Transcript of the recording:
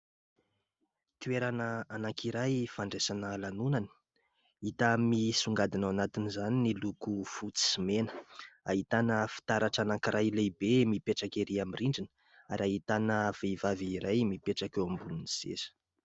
Toerana anankiray fandraisana lanonana ; hita misongadina ao anatin'izany ny loko fotsy sy mena. Ahitana fitaratra anankiray lehibe mipetraka erỳ amin'ny rindrina, ary ahitana vehivavy iray mipetraka eo ambony seza